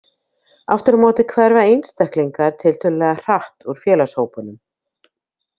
Aftur á móti hverfa einstaklingar tiltölulega hratt úr félagshópunum.